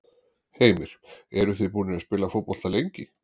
Heimir: Eruð þið búnir að spila fótbolta lengi?